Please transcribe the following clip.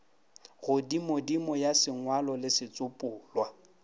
godimodimo ya sengwalo le setsopolwa